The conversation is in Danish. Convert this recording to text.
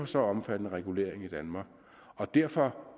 så omfattende regulering i danmark og derfor